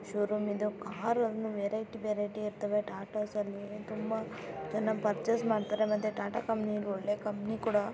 Showroom ಇದು variety variety ಇರುತ್ತಾವೆ Tata Motors ನ್ನು ತುಂಬಾ ಜನ ಪರ್ಚೆಸ್ ಮಾಡ್ತಾರೆ ಟಾ.ಟಾ. ಕಂಪನಿ ಒಳ್ಳೆ ಕಂಪನಿ ಕೂಡ.